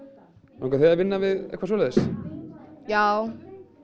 langar þig að vinna við eitthvað svoleiðis já